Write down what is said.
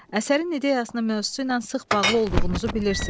Əsərin ideyasının mövzusu ilə sıx bağlı olduğunuzu bilirsiz.